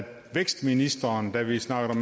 vækstministeren da vi snakkede